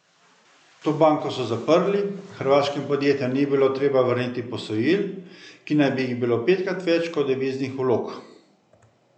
To banko so zaprli, hrvaškim podjetjem ni bilo treba vrniti posojil, ki naj bi jih bilo petkrat več kot deviznih vlog.